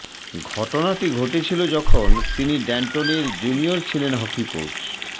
ঘটনাটি ঘটেছিল যখন তিনি ড্যান্টনের জুনিয়র ছিলেন হকি কোচ